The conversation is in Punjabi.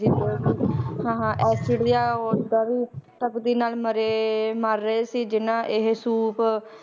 ਹਾਂ ਐਸਿਡ ਜਾਂ ਓਦਾਂ ਵੀ ਤਪਦੀ ਨਾਲ ਮਰੇ ਮਰ ਰਹੇ ਸੀ ਜਿਹਨਾਂ ਇਹ ਸੂਪ,